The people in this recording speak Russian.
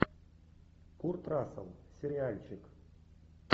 курт рассел сериальчик